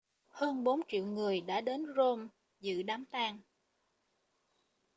hơn bốn triệu người đã đến rome dự đám tang